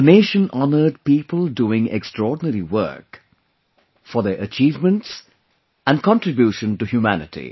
The nation honored people doing extraordinary work; for their achievements and contribution to humanity